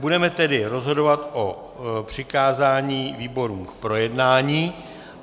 Budeme tedy rozhodovat o přikázání výborům k projednání.